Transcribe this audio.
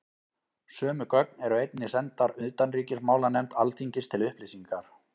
Sömu gögn eru einnig sendar utanríkismálanefnd Alþingis til upplýsingar.